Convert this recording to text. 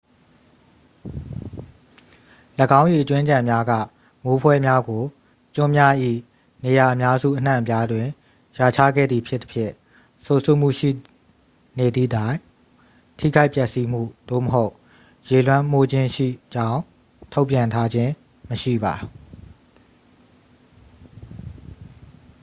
၎င်း၏ အကြွင်းအကျန်များက မိုးဖွဲများကို ကျွန်းများ၏ နေရာအများစုအနှံ့အပြားတွင် ရွာချခဲ့သည်ဖြစ်သဖြင့် စိုစွတ်မှုရှိသည့်နေသည့်တိုင် ထိခိုက်ပျက်စီးမှု သို့မဟုတ် ရေလွှမ်းမိုးခြင်းရှိကြောင်း ထုတ်ပြန်ထားခြင်းမရှိပါ